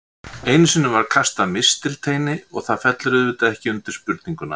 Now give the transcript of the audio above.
Einu sinni var kastað mistilteini og það fellur auðvitað ekki undir spurninguna.